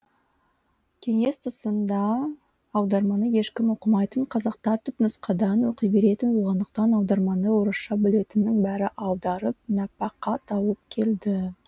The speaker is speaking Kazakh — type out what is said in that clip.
кеңес тұсында аударманы ешкім оқымайтын қазақтар түпнұсқадан оқи беретін болғандықтан аударманы орысша білетіннің бәрі аударып нәпәқа тауып келді